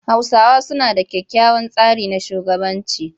Hausawa suna da kyakkyawan tsari na shugabanci.